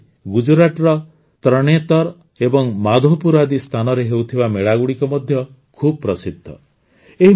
ସେଇଭଳି ଗୁଜରାଟର ତରଣେତର୍ ଏବଂ ମାଧୋପୁର ଆଦି ସ୍ଥାନରେ ହେଉଥିବା ମେଳାଗୁଡ଼ିକ ମଧ୍ୟ ଖୁବ୍ ପ୍ରସିଦ୍ଧ